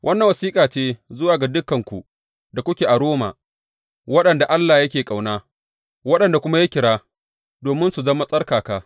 Wannan wasiƙa ce zuwa ga dukanku da kuke a Roma waɗanda Allah yake ƙauna, waɗanda kuma ya kira domin su zama tsarkaka.